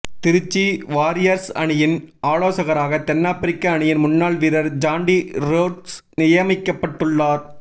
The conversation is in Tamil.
திருச்சி வாரியர்ஸ் அணியின் ஆலோசகராக தென்னாப்பிரிக்க அணியின் முன்னாள் வீரர் ஜான்டி ரோட்ஸ் நியமிக்கப்பட்டுள்ளார்